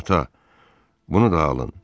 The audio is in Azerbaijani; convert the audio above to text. Ata, bunu da alın.